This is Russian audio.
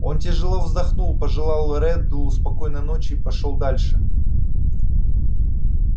он тяжело вздохнул пожелал реддлу спокойной ночи и пошёл дальше